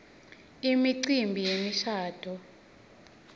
imicimbi yemishabuo